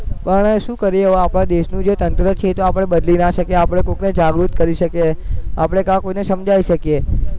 પણ હવે શું કરીએ હવે આપણા દેશનું જે તંત્ર છે તો એ આપણે બદલી ના શકીએ આપણે કોકને જાગૃત કરી શકીએ આપણે કે કોકને સમજાવી શકીએ